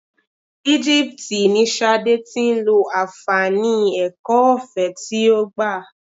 Igipiti ni Ṣadé tí ń lo àǹfààní ẹ̀kọ́ ọ̀fẹ́ tí ó gbà.